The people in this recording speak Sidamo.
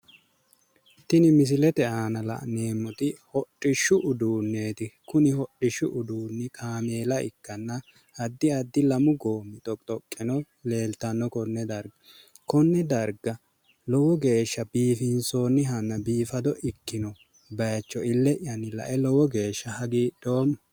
Tini misilete aana la'neemmoti hodhishshu uduunneeti. Kuni hodhishshu uduunnino kaameela ikkanna addi addi lamu goommi dhoqqi dhoqqeno leeltanno konne darga. Konne darga lowo geeshsha biifinsoonnihanna biifado ikkino bayicho ille'yanni lae lowo geeshsha hagiidhoommo.